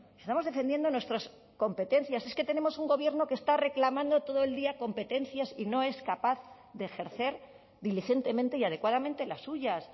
estamos defendiendo nuestras competencias es que tenemos un gobierno que está reclamando todo el día competencias y no es capaz de ejercer diligentemente y adecuadamente las suyas